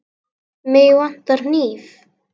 Mig vantar hníf.